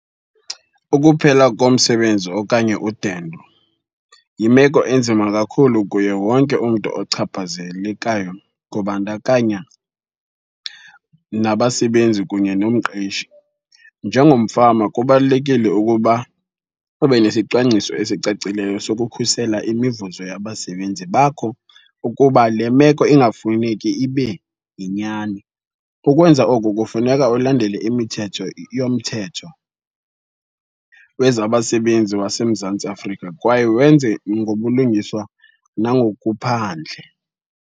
Ukuphela komsebenzi okanye udendo yimeko enzima kakhulu kuye wonke umntu ochaphazelekayo, kubandakanya nabasebenzi kunye nomqeshi. Njengomfama kubalulekile ukuba ube nesicwangciso esicacileyo sokukhusela imivuzo yabasebenzi bakho ukuba le meko ingafuneki ibe yinyani. Ukwenza oku kufuneka ulandele imithetho yomthetho wezabasebenzi waseMzantsi Afrika kwaye wenze ngobulungiswa nangokuphandle.